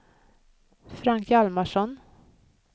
Frank Hjalmarsson